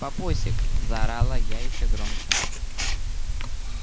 папусик заорала я ещё громче